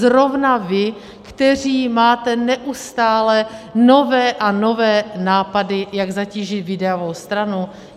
Zrovna vy, kteří máte neustále nové a nové nápady, jak zatížit výdajovou stranu?